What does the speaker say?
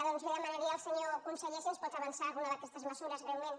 doncs demanaria al senyor conseller si ens pot avançar alguna d’aquestes mesures breument